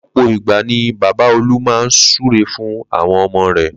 Ló̩pò̩ ìgbà ni bàbá Olú máa ń súre fún àwo̩n o̩mo̩ rè̩